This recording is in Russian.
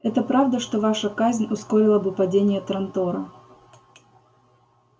это правда что ваша казнь ускорила бы падение трантора